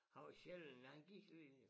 Han var sjælden han gik lige